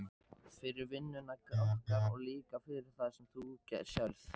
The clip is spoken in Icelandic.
Fyrir vinnuna okkar og líka fyrir það sem þú sérð.